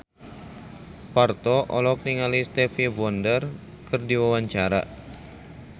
Parto olohok ningali Stevie Wonder keur diwawancara